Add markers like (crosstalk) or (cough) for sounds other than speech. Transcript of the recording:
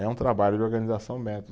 É um trabalho de organização (unintelligible)